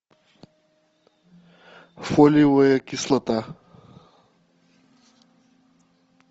фолиевая кислота